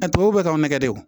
Ɛ tubabuw kaw nɛgɛ de don